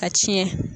A tiɲɛ